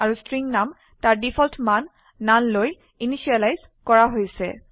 আৰু স্ট্ৰিং নাম তাৰ ডিফল্ট মান nullলৈ ইনিসিয়েলাইজ কৰা হৈছে